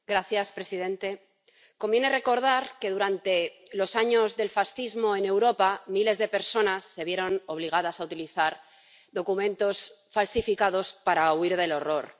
Señor presidente, conviene recordar que durante los años del fascismo en Europa miles de personas se vieron obligadas a utilizar documentos falsificados para huir del horror.